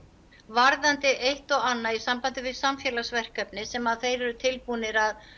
varðandi eitt og annað í sambandi við samfélagsverkefni sem þeir eru tilbúnir að